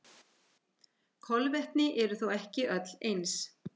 Kolvetni eru þó ekki öll eins.